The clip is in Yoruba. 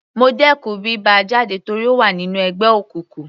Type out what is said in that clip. Mo dẹkùn bí bá a jáde torí ó wà nínú ẹgbẹ́ òkùnkùn.